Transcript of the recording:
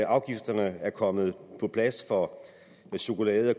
afgifterne er kommet på plads for chokolade